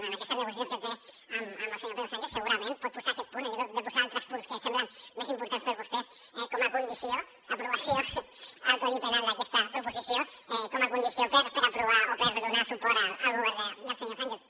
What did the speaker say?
en aquestes negociacions que té amb el senyor pedro sánchez segurament pot posar aquest punt en lloc de posar altres punts que semblen més importants per vostès com a condició aprovació al codi penal d’aquesta proposició com a condició per aprovar o per donar suport al govern del senyor sánchez